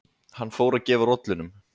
Hann fór að gefa rollunum